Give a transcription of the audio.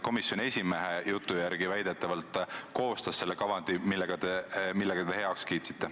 Komisjoni esimehe jutu järgi väidetavalt see töörühm koostas selle kavandi, mille te heaks kiitsite.